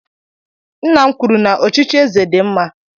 Nna m kwuru na ọchịchị eze dị mma